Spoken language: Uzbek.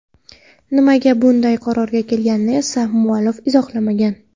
Nimaga bunday qarorga kelganini esa muallif izohlamagan.